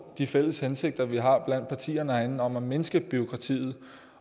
de fælles hensigter vi har blandt partierne herinde om at mindske bureaukratiet